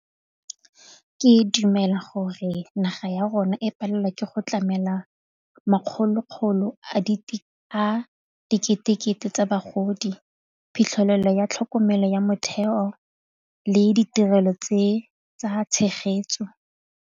Ke dumela gore naga ya rona e palelwa ke go tlamela makgolo-kgolo a dikete-kete tsa bagodi, phitlhelelo ya tlhokomelo ya motheo le ditirelo tse tsa tshegetso.